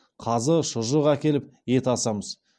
қазы шұжық әкеліп ет асамыз